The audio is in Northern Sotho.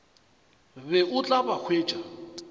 be o tla ba hwetša